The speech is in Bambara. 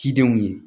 Cidenw ye